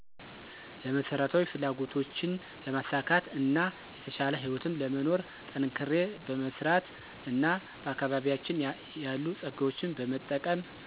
ለመሰረታዊ ፍላጎቶችን ለማሳካት እና የተሻለ ህይወትን ለመኖር። ጠንክሬ በመሰራት እና በአካባቢያችን የሉ ፀጋዎችን በመጠቀም።